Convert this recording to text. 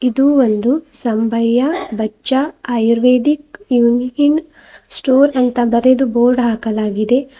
ಇದು ಒಂದು ಸಂಬಯ್ಯ ಬಚ್ಚಾ ಆಯುರ್ವೇದಿಕ್ ಯೂನ್ ಇನ್ ಸ್ಟೋರ್ ಅಂತ ಬರೆದು ಬೋರ್ಡ್ ಹಾಕಲಾಗಿದೆ.